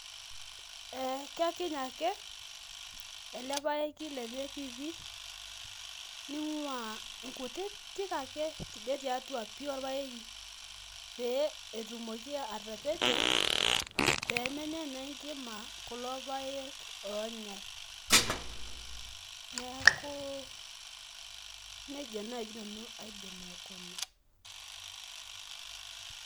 Ee kekiny ake ele paeki lenye piipii ning'ua nkutitik ake tidie tiatua pii orpaeki pee etumoki atapejo pee menya naa enkima kulo paek oonyai. Neeku neija naaji nanu aidim aikuna.